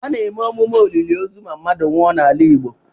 A na-eme emume olili ozu ma mmadụ nwụọ n'ala Igbo.